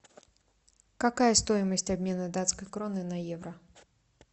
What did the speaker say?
какая стоимость обмена датской кроны на евро